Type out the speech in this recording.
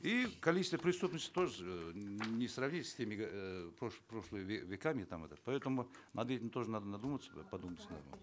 и количество преступности тоже не сравнить с теми эээ прошлыми веками там этот поэтому над этим тоже надо подумать надо